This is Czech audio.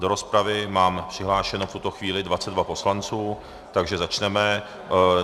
Do rozpravy mám přihlášeno v tuto chvíli 22 poslanců, takže začneme.